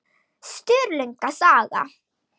Sturlunga saga.